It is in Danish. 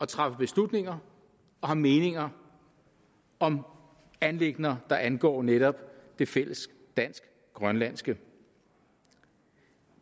træffe beslutninger og have meninger om anliggender der angår netop det fælles dansk grønlandske